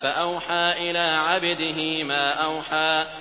فَأَوْحَىٰ إِلَىٰ عَبْدِهِ مَا أَوْحَىٰ